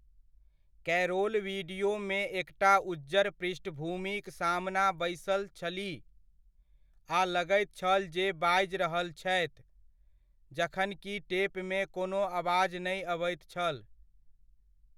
Carol वीडियोमे एकटा उज्जर पृष्ठभूमिक सामना बैसल छलीह आ लगैत छल जे बाजि रहल छथि जखन कि टेपमे कोनो आवाज नै अबैत छल।